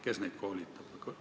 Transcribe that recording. Kes neid koolitab?